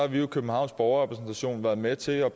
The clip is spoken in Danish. vi jo i københavns borgerrepræsentation været med til at